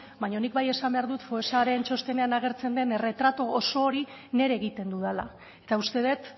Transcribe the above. baina nik bai esan behar dut foessaren txostenean agertzen den erretratu oso hori nire egiten dudala eta uste dut